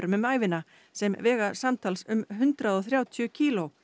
um ævina sem vega samtals um hundrað og þrjátíu kíló